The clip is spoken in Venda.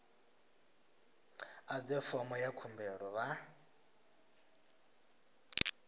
ḓadze fomo ya khumbelo vha